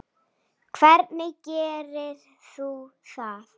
Hvernig gerir þú það?